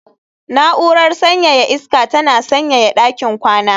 Na'urar sanyaya iska tana sanyaya ɗakin kwana